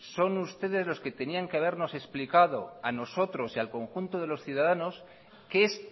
son ustedes los que tenían que habernos explicado a nosotros y al conjunto de los ciudadanos qué es